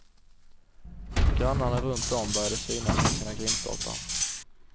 Grannarna runtom började synas vid sina grindstolpar.